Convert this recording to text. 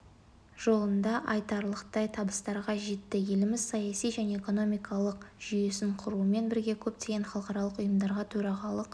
жолында айтарлықтай табыстарға жетті еліміз саяси және экономикалық жүйесін құрумен бірге көптеген халықаралық ұйымдарға төрағалық